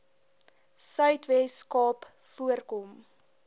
suidwes kaap voorkom